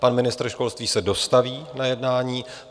Pan ministr školství se dostaví na jednání.